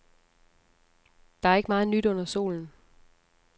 Der er ikke meget nyt under solen.